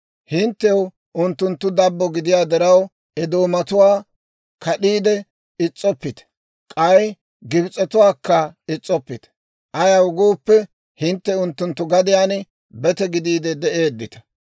«Hinttew unttunttu dabbo gidiyaa diraw, Edoomatuwaa kad'iide is's'oppite; k'ay Gibs'etuwaakka is's'oppite. Ayaw gooppe, hintte unttunttu gadiyaan bete gidiide de'eeddita.